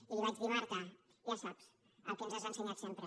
i li vaig dir marta ja saps el que ens has ensenyat sempre